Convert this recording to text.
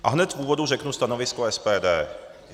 A hned v úvodu řeknu stanovisko SPD.